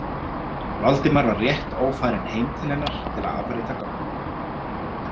Valdimar var rétt ófarinn heim til hennar til að afrita gögnin.